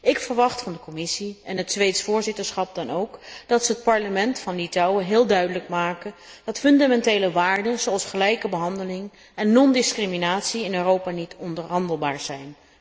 Ik verwacht van de Commissie en het Zweeds voorzitterschap dan ook dat ze het parlement van Litouwen heel duidelijk maken dat fundamentele waarden zoals gelijke behandeling en non discriminatie in Europa niet onderhandelbaar zijn.